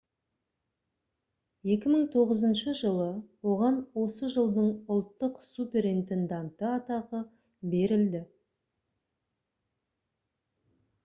2009 жылы оған осы жылдың ұлттық суперинтенданты атағы берілді